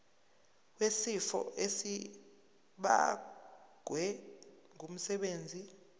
wesifo esibagwe ngumsebenzi